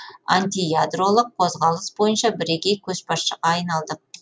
антиядролық қозғалыс бойынша бірегей көшбасшыға айналдық